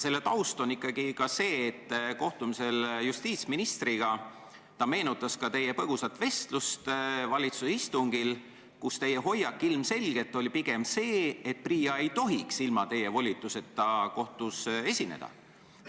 Sellest taustast rääkides: olen kohtunud justiitsministriga, kes meenutas teie põgusat vestlust valitsuse istungil, kus teie hoiak ilmselgelt oli pigem see, et PRIA ei tohiks ilma teie volituseta kohtus riiki esindada.